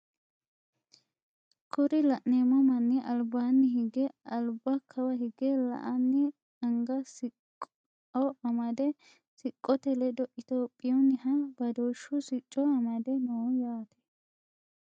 Kuri la'neemo manni albaanni hige alba kawa hige la"anni anga siqqo amade siqqote ledo itophiyuunniha badooshu sicco amade nooho yaate.